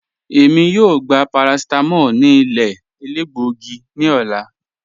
Èmi yóò gbà paracetamól ní ilẹ̀ èlẹ́gbọ̀gí ní òlà.